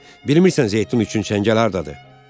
Bilmirəm zeytun üçün çəngəl hardadır?